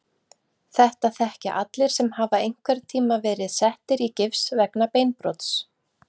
Þetta þekkja allir sem hafa einhverntíma verið settir í gifs vegna beinbrots.